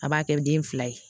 A b'a kɛ den fila ye